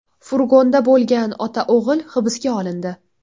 Furgonda bo‘lgan ota-o‘g‘il hibsga olindi.